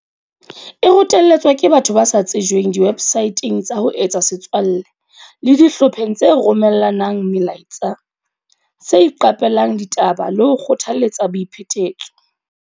E rotelletswa ke batho ba sa tsejweng diwebsaeteng tsa ho etsa setswalle le dihlopheng tse romella nang melaetsa tse iqape lang ditaba le ho kgothaletsa boiphetetso.